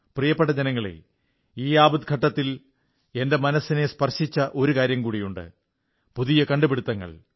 പ്രിയപ്പെട്ട ജനങ്ങളേ ഈ ആപദ്ഘട്ടത്തിൽ എന്റെ മനസ്സിനെ സ്പർശിച്ച ഒരു കാര്യം കൂടിയുണ്ട് പുതിയ കണ്ടുപിടുത്തങ്ങൾ